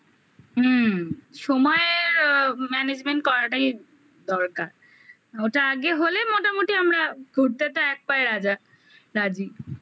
হুম সময়ের management করাটাই দরকার ওটা আগে হলে মোটামুটি আমরা ঘুরতে তো এক পায়ে রাজা রাজি